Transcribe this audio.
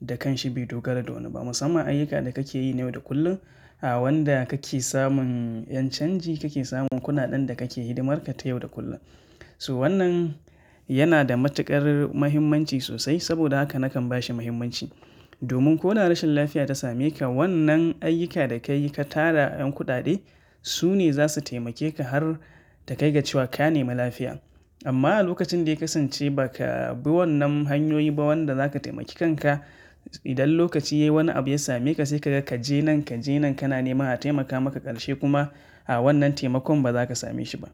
da kanshi bai dogara da wani ba. Musamman ayyuka da kake yi na yau da kullum, a wanda kake samun, yan canji kake samun kuɗaɗen da kake hidimar ka ta yau da kullum. So wannan yana da matuƙar muhimmanci sosai saboda haka nakan ba shi muhimmanci. Domin ko da rashin lafiya ta same ka wannan ayyuka da ka yi ka tara ƴan kuɗaɗe su ne za su taimake ka har ka kai ga cewa ka nema lafiya. Amma a lokacin da ya kasance ba ka bi wannan hanyoyi ba wanda za ka taimaki kanka, idan lokaci yayi wani abu ya same ka sai kaga kaje nan kaje nan kana nema a taimaka maka ƙarshe kuma a wannan taimakon ba za ka same shi ba.